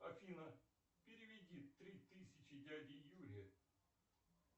афина переведи три тысячи дяде юре